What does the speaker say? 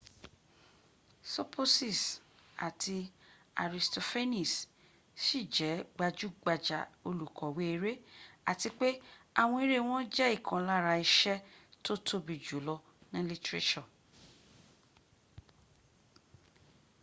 sopocies àti aristophanes ṣì jẹ́ gbajúgbajà olùkọ̀wé eré àti pé àwọn eré wọn jẹ́ ìkan lára iṣẹ́ tó tóbi jù lọ ní lítírésọ̀